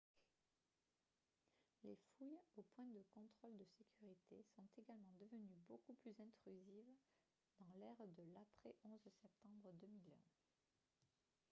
les fouilles aux points de contrôle de sécurité sont également devenues beaucoup plus intrusives dans l’ère de l’après-11 septembre 2001